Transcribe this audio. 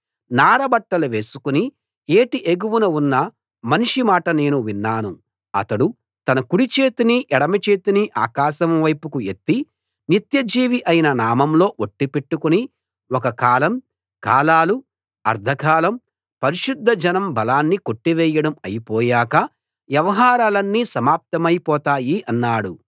నారబట్టలు వేసుకుని ఏటి ఎగువన ఉన్న మనిషి మాట నేను విన్నాను అతడు తన కుడి చేతిని ఎడమ చేతిని ఆకాశం వైపుకు ఎత్తి నిత్యజీవి అయిన ఆయన నామంలో ఒట్టు పెట్టుకుని ఒక కాలం కాలాలు అర్థకాలం పరిశుద్ధ జనం బలాన్ని కొట్టివేయడం అయిపోయాక వ్యవహారాలన్నీ సమాప్తమై పోతాయి అన్నాడు